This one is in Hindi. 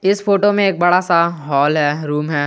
इस फोटो में एक बड़ा सा हाल है रूम है।